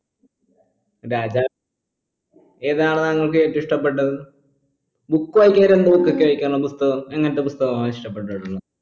രാജാ ഏതാണ് താങ്കൾക്ക് ഏറ്റവു ഇഷ്ടപ്പെട്ടത് book വായിക്ക എന്ത് book കിട്ടിയ വായിക്കാണ് പുസ്തകം എങ്ങപുസ്തകമാ ഇഷ്ടപ്പെട്ടിട്ടുള്ളത്